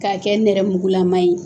K'a kɛ nɛrɛmugulama ye